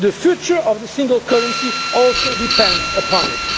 union. The future of the single currency depends